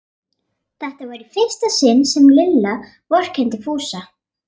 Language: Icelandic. Þetta var í fyrsta sinn sem Lilla vorkenndi Fúsa.